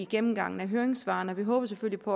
gennemgangen af høringssvarene vi håber selvfølgelig på